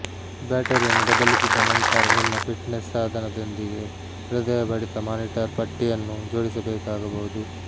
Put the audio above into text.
ಬ್ಯಾಟರಿಯನ್ನು ಬದಲಿಸಿದ ನಂತರ ನಿಮ್ಮ ಫಿಟ್ನೆಸ್ ಸಾಧನದೊಂದಿಗೆ ಹೃದಯ ಬಡಿತ ಮಾನಿಟರ್ ಪಟ್ಟಿಯನ್ನು ಜೋಡಿಸಬೇಕಾಗಬಹುದು